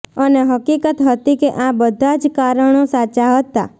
અને હકીકત હતી કે આ બધાં જ કારણો સાચાં હતાં